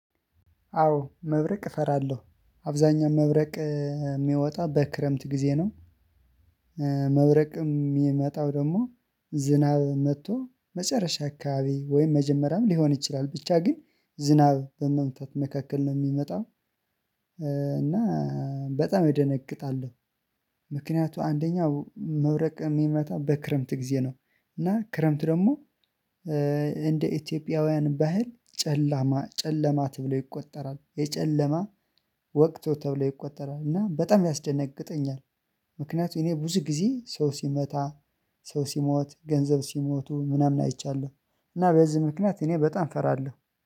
አዎ መብረቅ እፈራለሁ አብዛኛው መብረቅ የሚወጣ በክረምት ጊዜ ነው። የሚመጣው ደግሞ ዝናብ መጥቶ መጨረሻ አካባቢ ወይም መጀመሪያም ሊሆን ይችላል ብቻ ግን ዝናብ በመምጣት መካከል ነው የሚመጣው። እና በጣም እደነግጣለሁ። ምክንያቱም አንደኛው መብረቅ የሚመታ በክረምት ጊዜ ነው። እና ክረምት ደግሞ እንደ ኢትዮጵያውያን ባህል ጨለማ ጨለማ ተብሎ ይቆጠራል የጨለማ ወቅቱ ተብሎ ይቆጠራል እና በጣም ያስደነግጠኛል። ምክንያቱም እኔ ብዙ ጊዜ ሰው ሲመታ ሰው ሲሞት ገንዘብ ሲሞቱ ምናምን አይቻለሁ። እና በዚህ ምክንያት እኔ በጣም እፈራለሁ